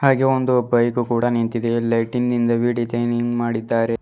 ಹಾಗೆ ಒಂದು ಬೈಕು ಕೂಡ ನಿಂತಿದೆ ಲೈಟಿಂಗ್ ಇಂದ ವಿಡಿಯೋ ಚೖನಿಂಗ್ ಮಾಡಿದ್ದಾರೆ.